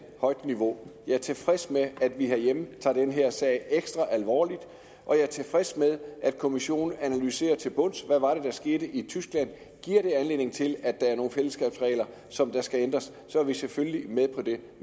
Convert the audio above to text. højt niveau jeg er tilfreds med at vi herhjemme tager den her sag ekstra alvorligt og jeg er tilfreds med at kommissionen analyserer til bunds hvad det var der skete i tyskland og giver det anledning til at der er nogle fællesskabsregler som skal ændres så er vi selvfølgelig med på det